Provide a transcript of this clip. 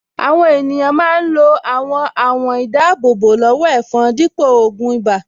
Àwọn ènìyàn máa ń lo àwọn àwọ̀n-ìdáábò-lọ́wọ́-ẹ̀fọn dípò ògùn ibà